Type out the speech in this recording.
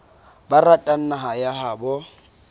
ba ratang naha ya habo